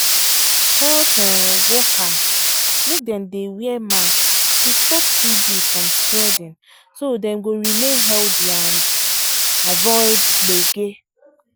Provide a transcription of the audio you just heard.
health um workers make dem dey wear mask to stop tb from spreading so dem go remain healthy and um avoid gbege.